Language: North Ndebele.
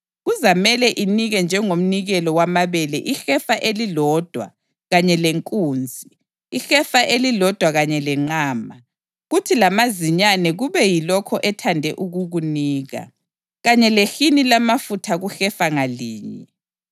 Kuzamele inike njengomnikelo wamabele ihefa elilodwa kanye lenkunzi, ihefa elilodwa kanye lenqama, kuthi lamazinyane kube yilokho ethande ukukunika, kanye lehini lamafutha kuhefa ngalinye.